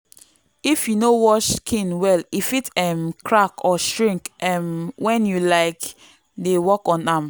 if you no wash skin well e fit um crack or shrink um when you um dey work on am.